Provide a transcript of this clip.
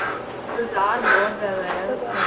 ਬਾਜ਼ਾਰ ਬਹੁਤ ਜਿਆਦਾ ਆ ਉੱਥੇ